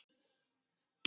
Úr nógu er að velja!